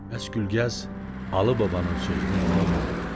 Bəs Gülgəz Alı babanın sözünə niyə inanmadı?